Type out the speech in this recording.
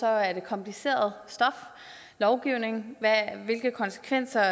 er det kompliceret lovgivning med hensyn hvilke konsekvenser